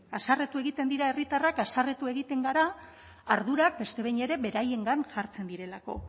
haserretu egiten dira herritarrak haserretu egiten gara ardurak beste behin ere beraiengan hartzen direlako